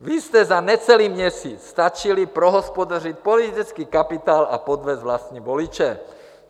Vy jste za necelý měsíc stačili prohospodařit politický kapitál a podvést vlastní voliče.